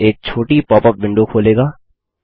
यह एक छोटी पॉपअप विंडो खोलेगा